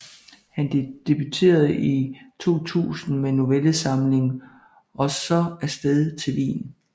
Han debuterede i 2000 med novellesamlingen Og så afsted til Wien